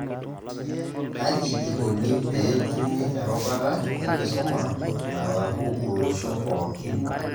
Kaji ikoni peetumi erubata enkisuma nalaku olosho pookin?